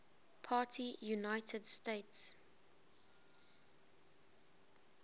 party united states